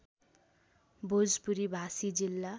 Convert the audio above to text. भोजपुरी भाषी जिल्ला